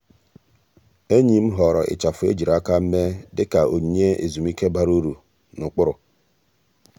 ényì m họ̀ọ̀rọ̀ ịchafụ ejiri áká mèé dị kà ọ́nyínyé ezùmíké bara uru na ụ́kpụ́rụ́.